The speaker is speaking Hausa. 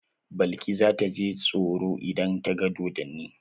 Balki za ta ji tsoro idan ta ga dodonni?